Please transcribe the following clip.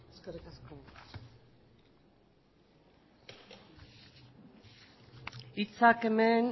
eskerrik asko hitzak hemen